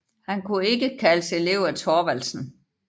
Han kunne ikke kaldes elev af Thorvaldsen